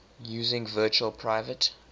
using virtual private